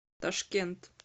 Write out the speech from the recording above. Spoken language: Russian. ташкент